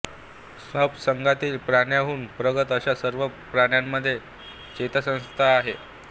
sponge संघातील प्राण्याहून प्रगत अशा सर्व प्राण्यामध्ये चेतासंस्था आहे